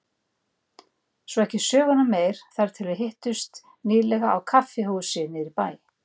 Svo ekki söguna meir þar til við hittumst nýlega á kaffihúsi niðri í bæ.